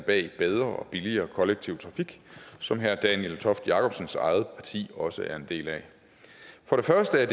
bag bedre og billigere kollektiv trafik som herre daniel toft jakobsens eget parti også er en del af for det første er